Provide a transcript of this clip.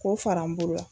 K'o fara n bolo la